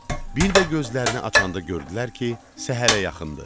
Bir də gözlərini açanda gördülər ki, səhərə yaxındır.